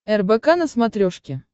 рбк на смотрешке